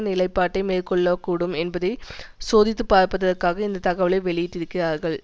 நிலைப்பாட்டை மேற்கொள்ளக்கூடும் என்பதை சோதித்துப்பார்ப்பதற்காக இந்த தகவலை வெளியிட்டிருக்கிறார்கள்